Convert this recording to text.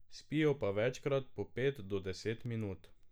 Spijo pa večkrat po pet do deset minut.